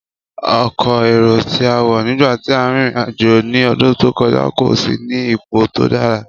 Ọkọ́ éró ti a wọ nigba ti a rin irin-ajo ni ọdun to kọja, ko si ni ipo to dara.